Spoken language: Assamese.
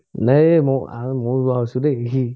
নায়ে ম আ ওৱা হৈছো দে